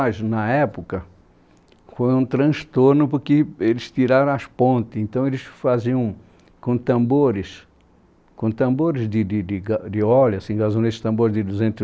A mudança do rio para nós, na época, foi um transtorno porque eles tiraram as pontes, então eles faziam com tambores, com tambores de de de gá de óleo assim, gasolete tambores de duzentos